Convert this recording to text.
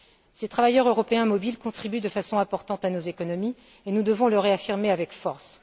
Ces travailleurs européens mobiles contribuent de façon importante à nos économies et nous devons le réaffirmer avec force.